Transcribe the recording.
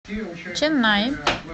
ченнаи